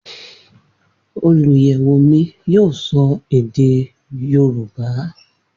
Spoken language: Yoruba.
Oluyẹwo mi yoo sọ ede Yoruba.